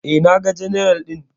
E, naga general ɗin.